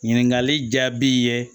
Ɲininkali jaabi ye